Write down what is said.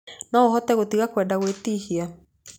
No ũhote gũtiga kwenda gwĩtihia.